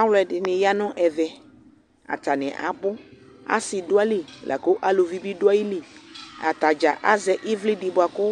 Alʋɛdɩnɩ ya nʋ ɛvɛ Atanɩ abʋ Asɩ dʋ ayili, la kʋ aluvi bɩ dʋ ayili Ata dza azɛ ɩvlɩ dɩ bʋa kʋ